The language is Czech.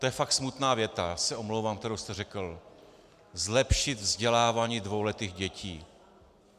To je fakt smutná věta, já se omlouvám, kterou jste řekl: zlepšit vzdělávání dvouletých dětí.